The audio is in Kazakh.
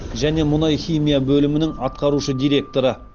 және мұнай химия бөлімінің атқарушы директоры